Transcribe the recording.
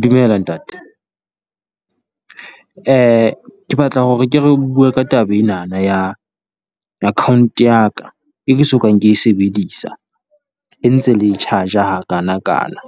Dumela ntate, ke batla hore re ke re bue ka taba enana ya account ya ka e ke sokang ke e sebedisa, e ntse le e charge-a ha kana kana.